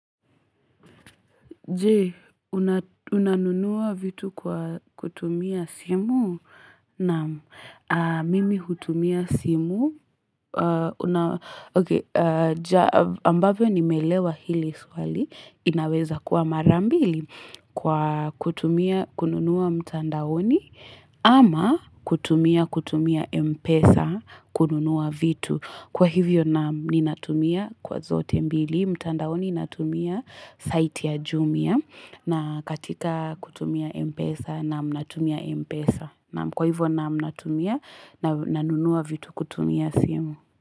Je, unanunua vitu kwa kutumia simu? Naam, mimi hutumia simu. Ambapo nimeelewa hili swali. Inaweza kuwa mara mbili kwa kutumia, kununua mtandaoni. Ama kutumia, kutumia mpesa, kununua vitu. Kwa hivyo na, ninatumia kwa zote mbili. Hii mtandaoni natumia site ya Jumia na katika kutumia M-Pesa na mnatumia M-Pesa. Kwa hivyo na mnatumia na nunua vitu kutumia simu.